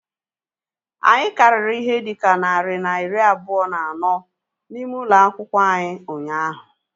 Anyị karịrị ihe dịka narị na iri abụọ na anọ n'ime ụlọ akwụkwọ anyị ụnyaahụ